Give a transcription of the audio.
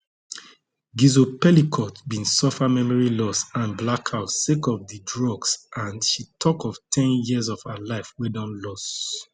gisle pelicot bin suffer memory loss and blackouts sake of di drugs and she tok of ten years of her life wey she don lose